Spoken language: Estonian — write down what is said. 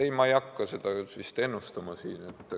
Ei, ma ei hakka seda ennustama.